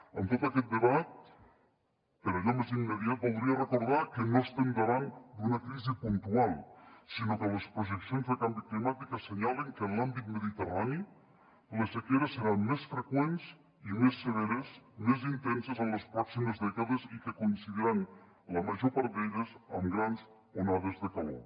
en tot aquest debat per allò més immediat voldria recordar que no estem davant d’una crisi puntual sinó que les projeccions de canvi climàtic assenyalen que en l’àmbit mediterrani les sequeres seran més freqüents i més severes més intenses en les pròximes dècades i que coincidiran la major part d’elles amb grans onades de calor